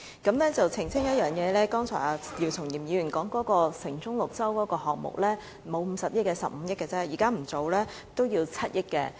我要澄清一點，姚松炎議員剛才所說的"城中綠洲"項目不是50億元，只是15億元，即使現在不進行這項目，也要7億元。